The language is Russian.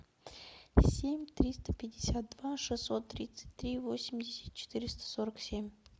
семь триста пятьдесят два шестьсот тридцать три восемьдесят четыреста сорок семь